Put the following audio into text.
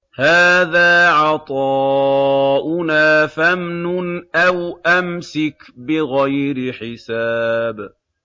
هَٰذَا عَطَاؤُنَا فَامْنُنْ أَوْ أَمْسِكْ بِغَيْرِ حِسَابٍ